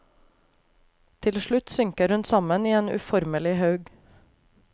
Til slutt synker hun sammen i en uformelig haug.